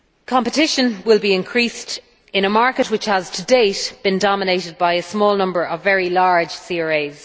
Competition will be increased in a market which has to date been dominated by a small number of very large CRAs.